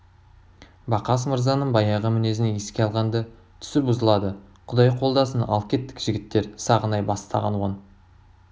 бақас мырзаның баяғы мінезін еске алғанда түсі бұзылады құдай қолдасын ал кеттік жігіттер сағынай бастаған он